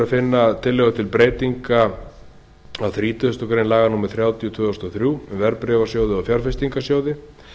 að finna tillögu til breytinga á þrítugustu greinar laga númer þrjátíu tvö þúsund og þrjú um verðbréfasjóði og fjárfestingarsjóði